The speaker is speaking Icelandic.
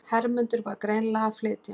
Hermundur var greinilega að flytja.